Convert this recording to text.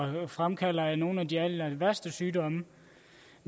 fremkalder nogle af de allerværste sygdomme